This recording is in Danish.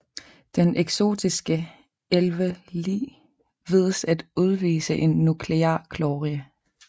Den eksotiske 11Li vides at udvise en nuklear glorie